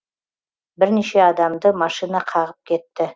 бірнеше адамды машина қағып кетті